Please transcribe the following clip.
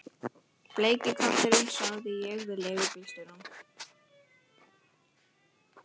Bleiki kötturinn sagði ég við leigubílstjórann.